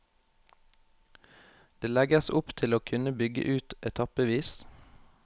Det legges opp til å kunne bygge ut etappevis.